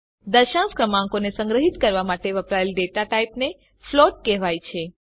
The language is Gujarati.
દશાંશ ક્રમાંકોને સંગ્રહીત કરવા માટે વપરાયેલ ડેટા ટાઇપને ફ્લોટ કહેવાય છે